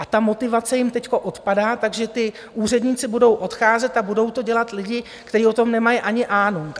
A ta motivace jim teď odpadá, takže ti úředníci budou odcházet a budou to dělat lidi, kteří o tom nemají ani ánung.